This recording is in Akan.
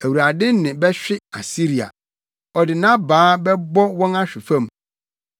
Awurade nne bɛhwe Asiria; ɔde nʼabaa bɛbɔ wɔn ahwe fam.